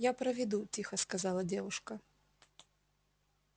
я проведу тихо сказала девушка